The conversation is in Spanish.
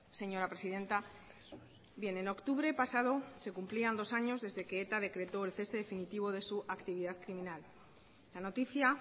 señora presidenta bien en octubre pasado se cumplían dos años desde que eta decretó el cese definitivo de su actividad criminal la noticia